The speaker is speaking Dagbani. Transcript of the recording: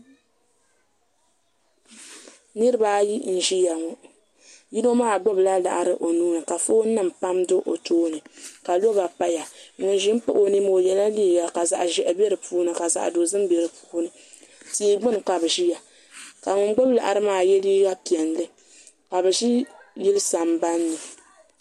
niriba ayi n-ʒia ŋɔ yino maa gbubila laɣiri o nuu ni ka foonnima pam do o tooni ka loba paya ŋun ʒi m-pahi o ni maa o yɛla liiga ka zaɣ' ʒɛhi be di puuni ka zaɣ' dozim be di puuni tia gbuni ka bɛ ʒia ka ŋun gbubi laɣiri maa ye liiga piɛlli ka bɛ yili sambani ni